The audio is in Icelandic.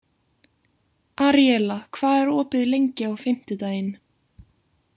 Aríela, hvað er opið lengi á fimmtudaginn?